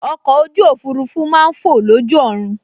Ọkọ̀ ojú òfurufú máa n fọ̀ lójú ọ̀run